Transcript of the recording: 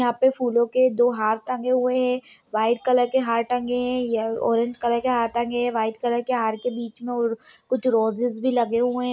यहाँ पे फूलों के दो हार टंगे हुए है वाइट कलर के हार टंगे हैं ये ऑरेंज कलर के हार टंगे हैं वाइट कलर के हार के बीच में उ कुछ रोजेज भी लगे हुए हैं।